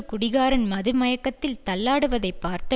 குடிகாரன் மது மயக்கத்தில் தள்ளாடுவதைப் பார்த்த